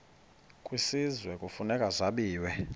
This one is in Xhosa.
kwisizwe kufuneka zabiwe